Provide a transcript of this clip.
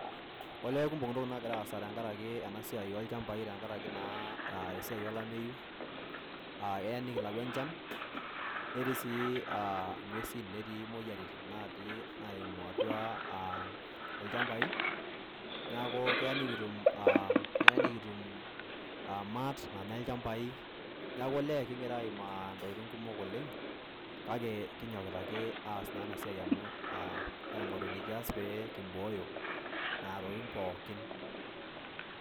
Olee kumok ntokitin nagira aasa tenkaraki ena siai oolchambai , tenkaraki naa esiai olameyu . aa eya nikilayu enchan , netii sii aa ngwesin , netii moyiarin natii naimu atua ilchambai . niaku keya nikitum aa keya nikitum a maat nanya ilchambai . niaku olee kingira aimaa ntokitin kumok oleng , kake kinyokita ake aasa naa ena siai amu aa aingoru enikias pee kimbooyo nena tokitin pookin.